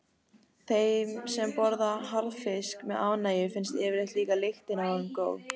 Þeim sem borða harðfisk með ánægju finnst yfirleitt líka lyktin af honum góð.